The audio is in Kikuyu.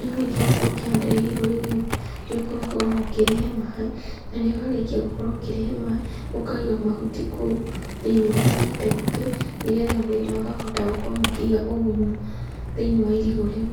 Na rĩrĩa warĩkia gũkorwo ũkĩhandĩra irigũ rĩu rĩaku nĩ ũkoragwo ona ũkĩrĩhe maaĩ, na rĩrĩa warĩkia gũkorwo ũkĩrĩhe maaĩ, ũkaiga mahuti kũu thĩiniĩ wa gĩtegũ kĩu nĩgetha makahota gũkorwo makĩiga ũgunyu thĩiniĩ wa irigũ rĩu.